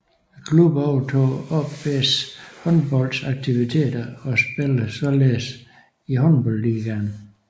Klubben overtog AaB Håndbolds aktiviteter og spiller således i Håndboldligaen